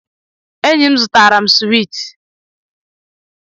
Enyi m zụtara m swiiti.